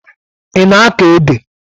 Ị na-akọ ede?